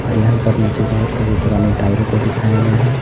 और यहां पर नीचे बहुत सारे पुराने टायरों को दिखाया गया है।